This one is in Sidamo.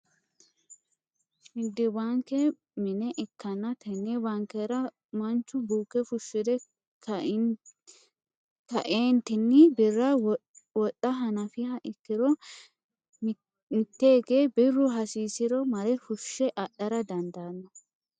nigiddete baanke minne ikanna tenne baankera manchu buuke fushire ka'eenitinni birra wodha hanafiha ikiro miteeke birru hasisisiro marre fushe adhara dandaano.